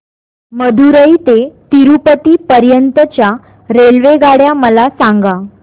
मदुरई ते तिरूपती पर्यंत च्या रेल्वेगाड्या मला सांगा